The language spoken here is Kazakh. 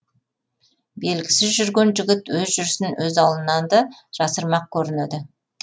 мезгілсіз жүрген жігіт өз жүрісін өз аулынан да жасырмақ көрінеді